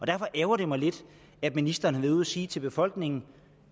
derfor ærgrer det mig lidt at ministeren har været ude at sige til befolkningen